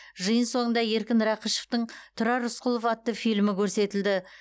жиын соңында еркін рақышовтың тұрар рысқұлов атты фильмі көрсетілді